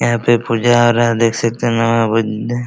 यहाँ पे पूजा हो रहा है देख सकते हैं --